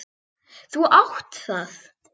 Þú átt það!